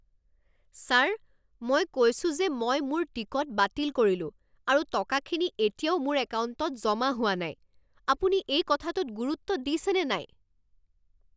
Sir! মই কৈছোঁ যে মই মোৰ টিকট বাতিল কৰিলোঁ আৰু টকাখিনি এতিয়াও মোৰ একাউণ্টত জমা হোৱা নাই। আপুনি এই কথাটোত গুৰুত্ব দিছেনে নাই?